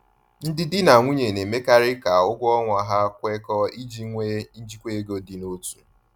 Ndị di na nwunye na-emekarị ka ụgwọ ọnwa ha kwekọọ iji nwee njikwa ego dị n’otu.